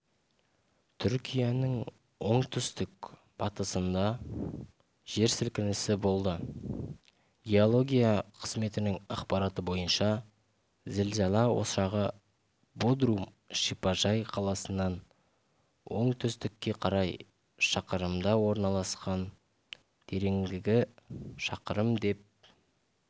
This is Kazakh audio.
түркияның оңтүстік-батысында жер сілкінісі болды геология қызметінің ақпараты бойынша зілзала ошағы бодрум шипажай қаласынан оңтүстікке қарай шақырымда орналасқан тереңдігі шақырым деп